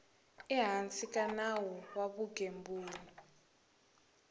ehansi ka nawu wa vugembuli